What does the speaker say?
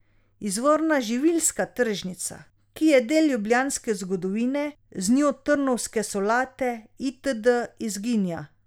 Izvorna živilska tržnica, ki je del ljubljanske zgodovine, z njo trnovske solate itd, izginja.